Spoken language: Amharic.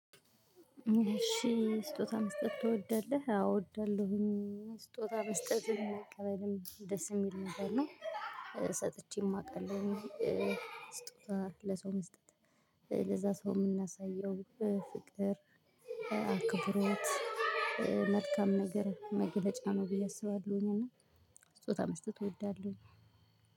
እሺ ስጦታ መስጠት ትወዳለህ? አወ እወድዳለሁኝ ስጦታ መስጠትን አቅበልም ደስ የሚል ነገር ነው። ሰጥቼም አቃለሁኝ። ስጦታ ለሰው መስጠት ለዛ ሰው የምናሳየው ፍቅር አክብሮት መልካም ነገር መግለጫ ነው ብዬ አስባለሁኝ። እና ስጦታ መስጠት እወዳለሁኝ።